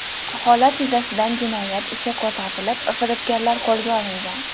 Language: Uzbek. Holat yuzasidan jinoyat ishi qo‘zg‘atilib, firibgarlar qo‘lga olingan.